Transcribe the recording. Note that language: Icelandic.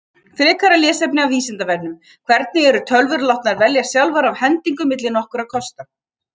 Frekara lesefni af Vísindavefnum: Hvernig eru tölvur látnar velja sjálfar af hendingu milli nokkurra kosta?